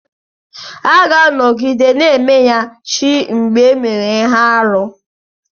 A ga-anọgide na-emeya chi mgbe e mere ihe arụ.